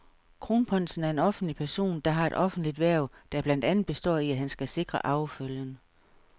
Kronprinsen er en offentlig person, der har et offentligt hverv, der blandt andet består i, at han skal sikre arvefølgen.